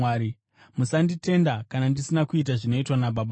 Musanditenda kana ndisina kuita zvinoitwa naBaba vangu.